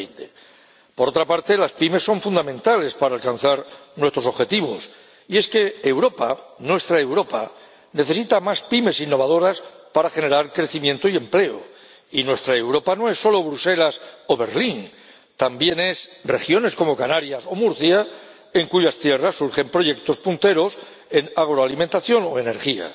2020. Por otra parte, las pymes son fundamentales para alcanzar nuestros objetivos. Y es que Europa, nuestra Europa, necesita más pymes innovadoras para generar crecimiento y empleo, y nuestra Europa no es solo Bruselas o Berlín, también es regiones como Canarias o Murcia, en cuyas tierras surgen proyectos punteros en agroalimentación o energía